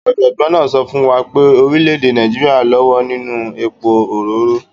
Ọ̀jọ̀gbọ́n náà sọ fún wa pé orílẹ̀ èdè Nàíjíríà lówó nínú epo òróró.